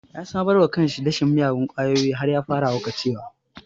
Ya sabarwa kanshi da shan miyagun ƙwayoyi har ya fara haukacewa